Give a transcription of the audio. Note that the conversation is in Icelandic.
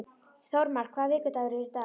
Þórmar, hvaða vikudagur er í dag?